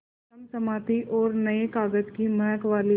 चमचमाती और नये कागज़ की महक वाली